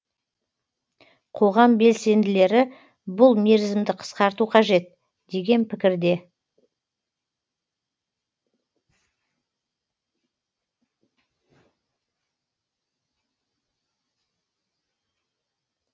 қоғам белсенділері бұл мерзімді қысқарту қажет деген пікірде